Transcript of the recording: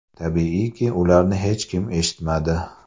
Tabiiyki, ularni hech kim eshitmadi.